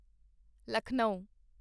Lucknow